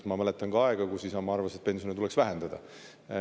Ma mäletan ka aega, kus Isamaa arvas, et pensione tuleks vähendada.